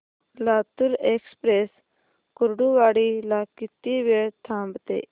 Latur express Kurduwadi ला किती वेळ थांबते